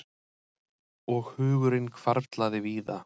Og hugurinn hvarflaði víða.